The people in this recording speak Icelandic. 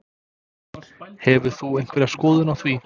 Hefur þú einhverja skoðun á því?